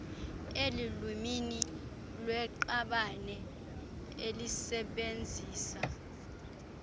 elulwimini lweqabane elisebenzisa